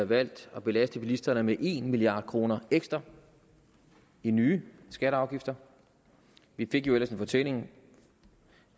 valgt at belaste bilisterne med en milliard kroner ekstra i nye skatter og afgifter vi fik jo ellers en fortælling